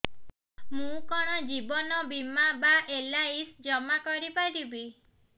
ମୁ କଣ ଜୀବନ ବୀମା ବା ଏଲ୍.ଆଇ.ସି ଜମା କରି ପାରିବି